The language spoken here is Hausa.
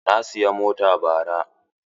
Na siyi mota bara.